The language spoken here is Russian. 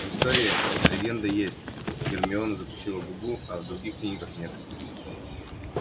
в истории эта легенда есть гермиона закусила губу а в других книгах нет